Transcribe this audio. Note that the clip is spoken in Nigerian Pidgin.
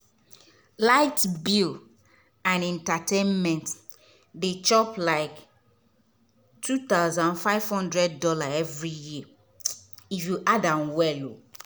light bill and entertainment dey chop like $2500 every year if you add am well.